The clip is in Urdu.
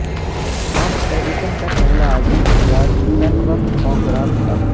تھامس ایڈیشن کا پہلا عظیم ایجاد ٹن ورق فونگراف تھا